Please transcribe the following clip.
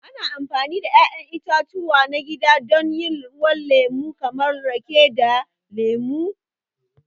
Ana amfani da 'ya'yan itatuwa na gida don yin ruwan lemo kamar rake da lemu.